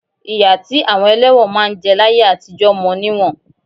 Ìyà tí àwọn ẹlẹ́wọ̀n máa ń jẹ láyé àtijọ mọ níwọ̀n